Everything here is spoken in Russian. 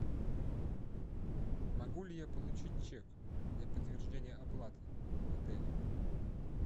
могу ли я получить чек для подтверждения оплаты в отеле